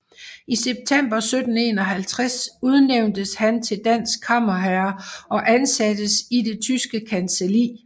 I september 1751 udnævntes han til dansk kammerherre og ansattes i det Tyske Kancelli